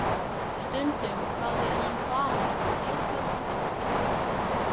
Stundum hafði hann farið eitthvað langt í burtu.